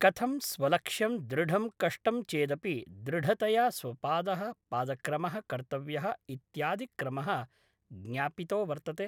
कथं स्वलक्ष्यं दृढं कष्टं चेदपि दृढतया स्वपादः पादक्रमः कर्तव्यः इत्यादिक्रमः ज्ञापितो वर्तते